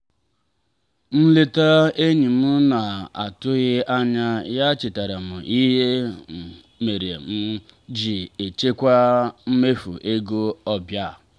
nleta enyi m na-atụghị anya ya chetaara m ihe mere m ji echekwa mmefu ego ọbịa.